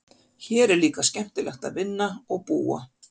Hér er líka skemmtilegt að vinna og búa.